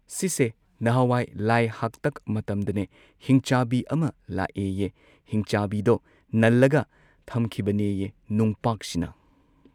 ꯁꯤꯁꯦ ꯅꯍꯥꯟꯋꯥꯏ ꯂꯥꯏ ꯍꯥꯛꯇꯛ ꯃꯇꯝꯗꯅꯦ ꯍꯤꯡꯆꯥꯕꯤ ꯑꯃ ꯂꯥꯛꯑꯦꯌꯦ ꯍꯤꯡꯆꯥꯕꯤꯗꯣ ꯅꯜꯂꯒ ꯊꯝꯈꯤꯕꯅꯦꯌꯦ ꯅꯨꯡꯄꯥꯛꯁꯤꯅ꯫